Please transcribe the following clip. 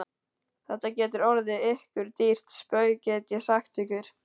Þetta getur orðið ykkur dýrt spaug, get ég sagt ykkur!